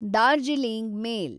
Darjeeling ಮೇಲ್